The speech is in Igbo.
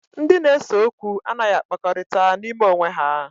Ndị na-ese okwu anaghị akpakọrịta n'ime onwe ha